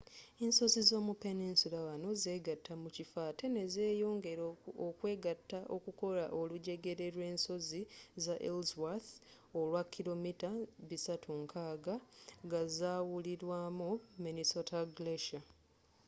ensozi z'omu peninsula wano zegatta mu kifo ate nezeyongera okwegatta okukola olujegere lw'ensozi za ellsworth olwakilometre 360 ga zawulwamu minnesota glacier